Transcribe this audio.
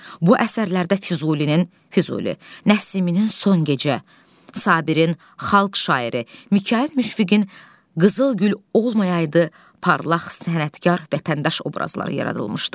Bu əsərlərdə Füzulinin, Füzuli, Nəsiminin son gecə, Sabirin xalq şairi, Mikayıl Müşfiqin qızıl gül olmayaydı parlaq sənətkar vətəndaş obrazları yaradılmışdı.